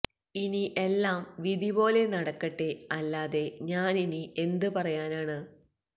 ഇനി എല്ലാം വിധി പോലെ നടക്കട്ടെ അല്ലാതെ ഞാനിനി എന്ത് പറയാനാണ്